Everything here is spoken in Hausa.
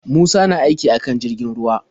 Musa na aiki akan jirgin ruwa.